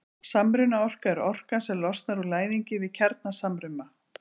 samrunaorka er orkan sem losnar úr læðingi við kjarnasamruna